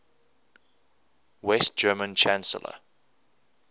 west german chancellor